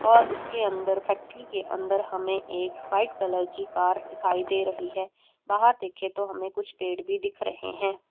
और उसके अंदर फैक्ट्री के अंदर हमें एक वाइट कलर की कार दिखाई दे रही है बाहर देखें तो हमें कुछ पेड़ भी दिख रहे हैं।